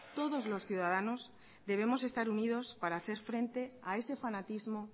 todos los ciudadanos debemos estar unidos para hacer frente a ese fanatismo